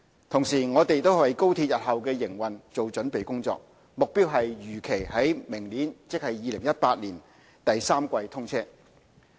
同時，我們也為高鐵日後的營運做準備工作，目標是如期於明年第三季通車。